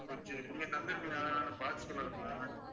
கொஞ்சம்